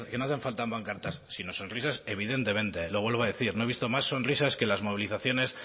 pancartas sino sonrisas evidentemente lo vuelvo a decir no he visto más sonrisas que las movilizaciones